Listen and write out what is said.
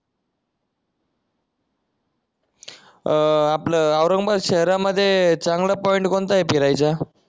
अह आपलं औरंगाबाद शहरामध्ये चांगला पॉईंट कोणता आहे फिरायचा